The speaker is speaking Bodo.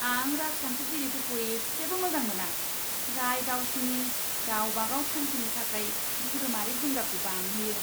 आं राजखान्थिगिरिफोरखौ एसेबो मोजां मोना, जाय गावसिनि गाव बागाव थांखिनि थाखाय धोरोमारि जिंगाखौ बांहोयो!